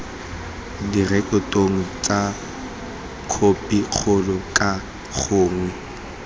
direkotong tsa khopikgolo ka gangwe